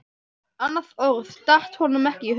Annað orð datt honum ekki í hug.